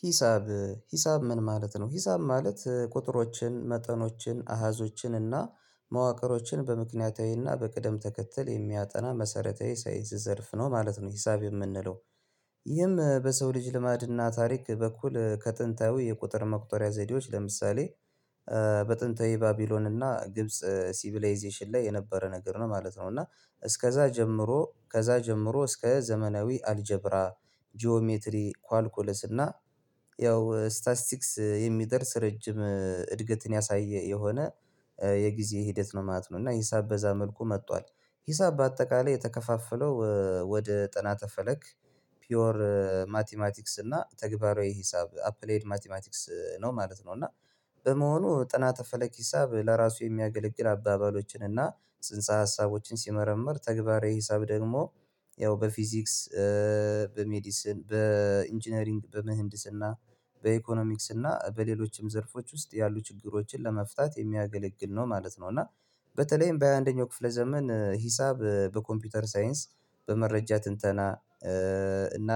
ሂሳብ ሂሳብ ምን ማለት ነው? ሂሳብ ማለት ቁጥሮችን፣ መጠኖችን፣ አሀዞችን እና መዋቅሮችን በምክንያታዊና በቅደም ተከተል የሚያጠና መሰረታዊ የሳይንስ ዘርፍ ነው ማለት ነው ሂሳብ የምንለው። ይህም በሰው ልጅ ልማድና ታሪክ በኩል ከጥንታዊ የቁጥር መቁጠሪያ ዘዴዎች ለምሳሌ በጥንተ የባቢሎን እና ግብጽ ሲቪላይዜሽን ላይ የነበረ ነገር ነው ማለት ነው እና እስከዛ ጀምሮ ከዛ ጀምሮ እስከ ዘመናዊ አልጀብራ ጂኦሜትሪ ኳልኩለስ እና ያው ስታስቲክስ የሚደርስ ረጅም እድገትን ያሳየ የሆነ የጊዜ ሂደት ነው ማለት ነው እና ሂሳብ በዛ መልኩ መጥቷል። ሂሳብ በአጠቃላይ የተከፋፈለው ወደ ጥናት ፈለግ ፒዮር ማቲማቲክስ እና ተግባራዊ ሂሳብ አፕሌድ ማቲማቲክስ ነው ማለት ነው። እና በመሆኑ ጥናት ፈለግ ሂሳብ ለራሱ የሚያገለግል አባባሎችን እና ጽንሰ ሀሳቦችን ሲመረመር ተግባራዊ ሂሳብ ደግሞ ያው በፊዚክስ፣ በሜዲስን፣ በኢንጂነሪንግ፣ በምህንድስና በኢኮኖሚክስና በሌሎችም ዘርፎች ውስጥ ያሉ ችግሮችን ለመፍታት የሚያገለግል ነው ማለት ነው፤ እና በተለይም በ ሃያ አንደኛው ክፍለ ዘመን ሂሳብ በኮምፒውተር ሳይንስ፣ በመረጃ ትንተና እና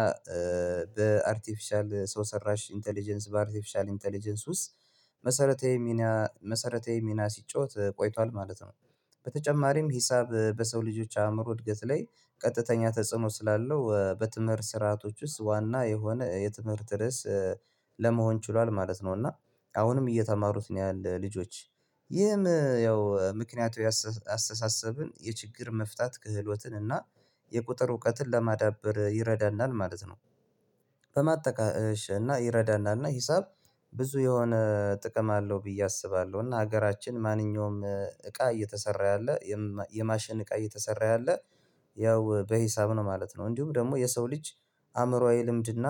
በአርቲፊሻል ሰው ሰራሽ ኢንተለጀንስ በአርቲፊሻል ኢንተለጀንስ ውስጥ መሰረታዊ ሚና መሰረተዬ ሚና ሲጫወት ቆይቷል ማለት ነው። በተጨማሪም ሂሳብ በሰው ልጆች አእምሮ እድገት ላይ ቀጥተኛ ተጽዕኖ ስላለው በትምህርት ስርዓቶች ውስጥ ዋና የሆነ የትምህርት ርዕስ ለመሆን ችሏል ማለት ነው እና አሁንም እየተማሩት ነው ያለው ልጆች ይህም ያው ምክንያቱ ያስ አስተሳሰብን የችግር መፍታት ክህሎትን እና የቁጥር እውቀትን ለማዳበር ይረዳናል ማለት ነው። በማጠቃሽ እና ይረዳናል እና ሂሳብ ብዙ የሆነ ጥቅም አለው ብዬ አስባለሁ እና ሀገራችን ማንኛውም እቃ እየተሰራ ያለ፣ የማሽን እቃ እየተሰራ ያለ ያው በሂሳብ ነው ማለት ነው እንዲሁም ደግሞ የሰው ልጅ አእምሮአዊ ልምድና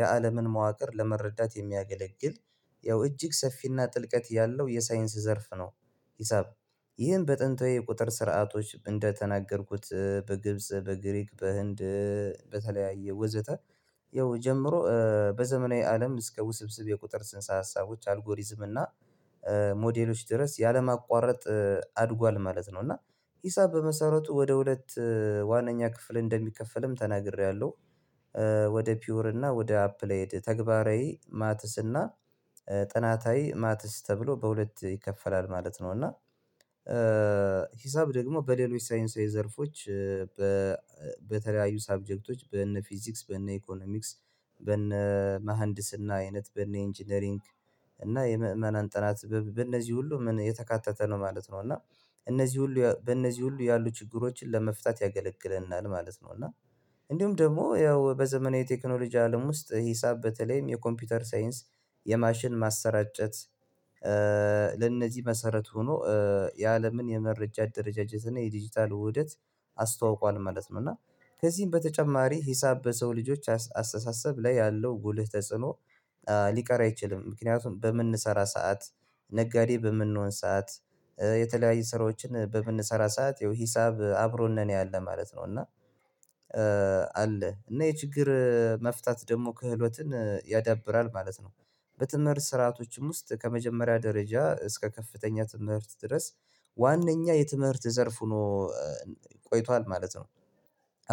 የአለምን መዋቅር ለመረዳት የሚያገለግል ያው እጅግ ሰፊና ጥልቀት ያለው የሳይንስ ዘርፍ ነው። ሂሳብ ይህን በጥንታዊ ቁጥር ስርዓቶች እንደተናገርኩት በግብጽ፣ በግሪክ፣ በህንድ በተለያየ ወዘተ ያው ጀምሮ በዘመናዊ አለም እስከ ውስብስብ የቁጥር ጽንሳ ሀሳቦች አልጎሪዝም እና ሞዴሎች ድረስ ያለማቋረጥ አድጓል ማለት ነው እና ሂሳብ በመሰረቱ ወደ ሁለት ዋነኛ ክፍል እንደሚከፈልም ተናግሬያለሁ ወደ ፒዩር እና ወደ አፕላይድ ተግባራዊ ማትስ እና ጥናታዊ ማትስ ተብሎ በሁለት ይከፈላል ማለት ነው እና ሂሳብ ደግሞ በሌሎች ሳይንሳዊ ዘርፎች በተለያዩ ሰብጀክቶች በነ ፊዚክስ፣ በነ ኢኮኖሚክስ፣ በነ መሃንድስና አይነት በነ ኢንጂነሪንግ እና የምእመናን ጥናት በእነዚህ ሁሉ የተካተተ ነው ማለት ነው እና እነዚህ ሁሉ በእነዚህ ሁሉ ያሉ ችግሮችን ለመፍታት ያገለግለናል ማለት ነው። እና እንዲሁም ደግሞ ያው በዘመናዊ ቴክኖሎጂ አለም ውስጥ ሂሳብ በተለይም የኮምፒውተር ሳይንስ፣ የማሽን ማሰራጨት ለእነዚህ መሰረት ሆኖ የአለምን የመረጃ ደረጃጀት እና የዲጂታል ውህደት አስተዋውቋል ማለት ነው። እና ከዚህም በተጨማሪ ሂሳብ በሰው ልጆች አስተሳሰብ ላይ ያለው ጉልህ ተጽዕኖ ሊቀር አይችልም ምክንያቱም በምንሰራ ሰዓት ነጋዴ በምንሆን ሰዓት የተለያዩ ስራዎችን በምንሰራ ሰዓት ይሄው ሂሳብ አብሮን ነው ያለን ማለት ነው እና አለ እና የችግር መፍታት ደግሞ ክህሎትን ያዳብራል ማለት ነው። በትምህርት ስርአቶችም ውስጥ ከመጀመሪያ ደረጃ እስከ ከፍተኛ ትምህርት ድረስ ዋነኛ የትምህርት ዘርፍ ሆኖ ቆይቷል ማለት ነው።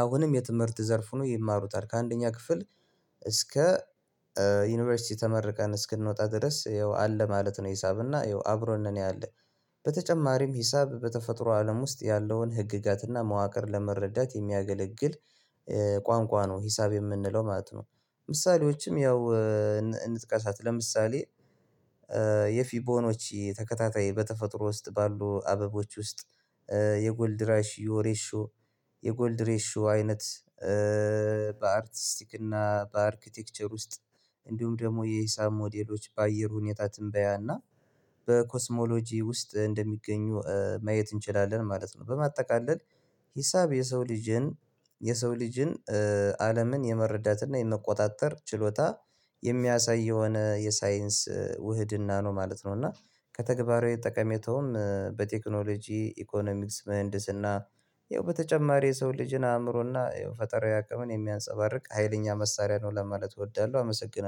አሁንም የትምህርት ዘርፍ ሆኖ ይማሩታል ከአንደኛ ክፍል እስከ ዩኒቨርሲቲ ተመርቀን እስክንወጣ ድረስ ይኸው አለ ማለት ነው ሂሳብና ይኸው አብሮ እንደሚያደርግ በተጨማሪም ሂሳብ በተፈጥሮ አለም ውስጥ ያለውን ህግጋትና መዋቅር ለመረዳት የሚያገለግል ቋንቋ ነው ሂሳብ የምንለው ማለት ነው ምሳሌዎችም ያው እንጥቃሳት ለምሳሌ የፊቦኖች ተከታታይ በተፈጥሮ ውስጥ ባሉ አበቦች ውስጥ የጎልድ ራሽ የሬሾ የጎልድ ሬሾ አይነት በአርቲስቲክ እና በአርክቴክቸር ውስጥ እንዲሁም ደግሞ የሂሳብ ሞዴሎች በአየር ሁኔታ ትንበያና በኮስሞሎጂ ውስጥ እንደሚገኙ ማየት እንችላለን ማለት ነው። በማጠቃለል ሂሳብ የሰው ልጅን የሰው ልጅን አለምን የመረዳትና የመቆጣጠር ችሎታ የሚያሳይ የሆነ የሳይንስ ውህድና ነው ማለት ነው እና ከተግባራዊ ጠቀሜታውም በቴክኖሎጂ፣ ኢኮኖሚክስ፣ ምህንድስና ይኸው በተጨማሪ የሰው ልጅን አእምሮና ፈጠራዊ አቅምን የሚያንፀባርቅ ሀይለኛ መሳሪያ ነው ለማለት እወዳለሁ አመሰግናለሁ።